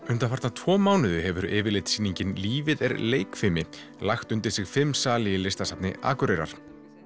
undanfarna tvo mánuði hefur lífið er leikfimi lagt undir sig fimm sali í Listasafni Akureyrar